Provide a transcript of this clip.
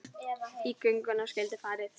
Í gönguna skyldi farið.